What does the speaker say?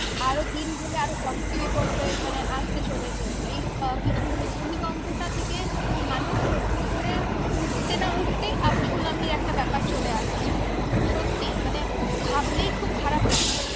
আরো দিন গেলে আরো কত কি বিপর্যয় মানে আসতে চলেছে এই আহ কিছু মানে ভূমিকম্পটা থেকে মানুষ নতুন করে উঠতে না উঠতেই আবার সুনামির একটা ব্যাপার চলে আসছে। সত্যি মানে ভাবলেই খুব খারাপ লাগে।